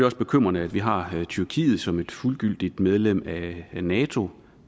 også bekymrende at vi har tyrkiet som et fuldgyldigt medlem af nato